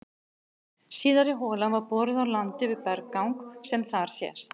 Síðari holan var boruð á landi við berggang sem þar sést.